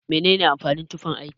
Mene amfanin tufan aiki?